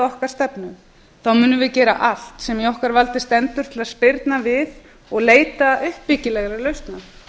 okkar stefnu þá munum við gera allt sem í okkar valdi stendur átt að spyrna við og leita uppbyggilegra lausna